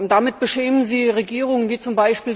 Damit beschämen Sie Regierungen wie z.